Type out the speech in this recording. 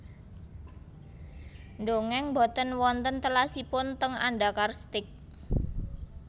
Ndongeng mboten wonten telasipun teng Andakar Steak